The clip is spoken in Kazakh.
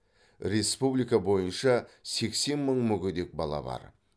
республика бойынша сексен мың мүгедек бала бар